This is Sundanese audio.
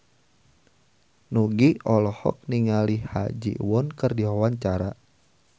Nugie olohok ningali Ha Ji Won keur diwawancara